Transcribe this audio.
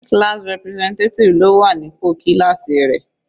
Class representative ló wà ní pò kíláásì rẹ̀.